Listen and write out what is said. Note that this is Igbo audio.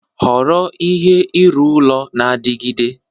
Họrọ ihe ịrụ ụlọ na-adigide.